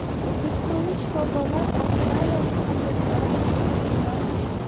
O‘zbekistonlik shifokorlar avstriyalik hamkasblari bilan tajriba almashdi.